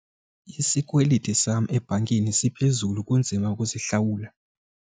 Isikweliti sam ebhankini siphezulu kunzima ukusihlawula.